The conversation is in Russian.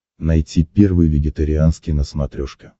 найти первый вегетарианский на смотрешке